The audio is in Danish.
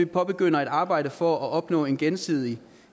påbegynder et arbejde for at opnå en gensidig